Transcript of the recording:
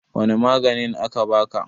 wane maganin aka baka?